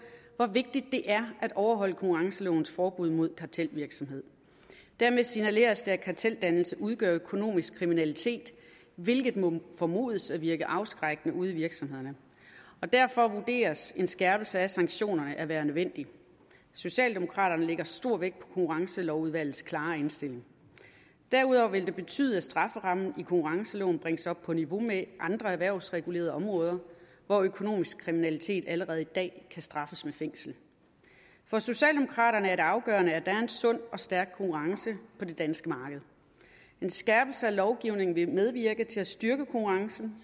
hvor vigtigt det er at overholde konkurrencelovens forbud mod kartelvirksomhed dermed signaleres det at karteldannelse udgør økonomisk kriminalitet hvilket må formodes at virke afskrækkende ude i virksomhederne og derfor vurderes en skærpelse af sanktionerne at være nødvendig socialdemokraterne lægger stor vægt på konkurrencelovudvalgets klare indstilling derudover vil det betyde at strafferammen i konkurrenceloven bringes op på niveau med andre erhvervsregulerede områder hvor økonomisk kriminalitet allerede i dag kan straffes med fængsel for socialdemokraterne er det afgørende at der er en sund og stærk konkurrence på det danske marked en skærpelse af lovgivningen vil medvirke til at styrke konkurrencen